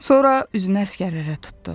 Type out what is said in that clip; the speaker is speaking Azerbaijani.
Sonra üzünü əsgərlərə tutdu.